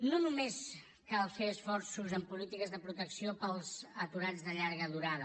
no només cal fer esforços en polítiques de protecció per als aturats de llarga durada